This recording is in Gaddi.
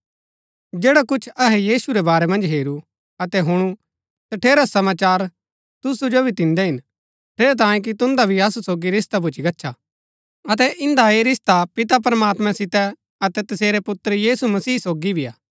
जैड़ा कुछ अहै यीशु रै बारै मन्ज हेरू अतै हुणु तठेरा समाचार तुसु जो भी दिन्दै हिन ठेरैतांये कि तुन्दा भी असु सोगी रिश्ता भूच्ची गच्छा अतै इन्दा ऐह रिश्ता पिता प्रमात्मां सितै अतै तसेरै पुत्र यीशु मसीह सोगी भी हा